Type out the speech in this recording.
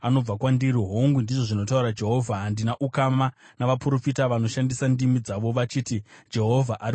Hongu,” ndizvo zvinotaura Jehovha, “handina ukama navaprofita vanoshandisa ndimi dzavo vachiti, ‘Jehovha ari kutaura.’